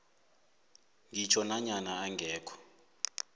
ngitjho nanyana angekho